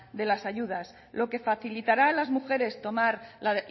de las ayudas lo que facilitará a las mujeres tomar la